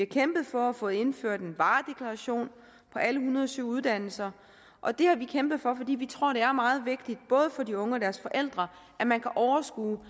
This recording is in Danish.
kæmpet for at få indført en varedeklaration på alle en hundrede og syv uddannelser og det har vi kæmpet for fordi vi tror det er meget vigtigt både for de unge og deres forældre at man kan overskue